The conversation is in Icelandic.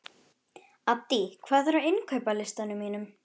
Addý, hvað er á innkaupalistanum mínum?